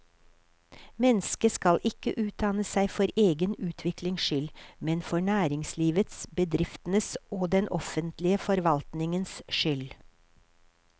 Mennesket skal ikke utdanne seg for egen utviklings skyld, men for næringslivets, bedriftenes og den offentlige forvaltningens skyld.